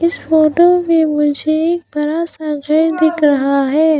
इस फोटो में मुझे एक बड़ा सा घर दिख रहा है।